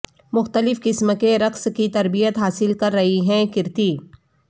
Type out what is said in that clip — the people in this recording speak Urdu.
مختلف قسم کے رقص کی تربیت حاصل کررہی ہیں کریتی